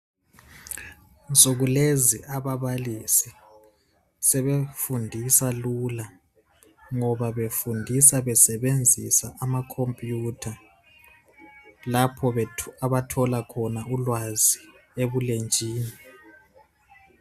Insuku lezi ababalisi sebefundisa lula .Ngoba befundisa besebenzisa amacomputer lapho abathola khona ulwazi ebulenjini .